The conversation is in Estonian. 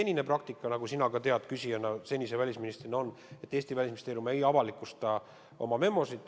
Senine praktika, nagu sina ka tead endise välisministrina, on, et Eesti Välisministeerium ei avalikusta oma memosid.